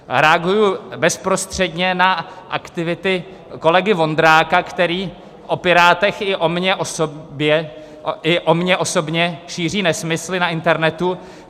Reaguji bezprostředně na aktivity kolegy Vondráka, který o Pirátech i o mně osobně šíří nesmysly na internetu.